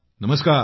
नमस्कार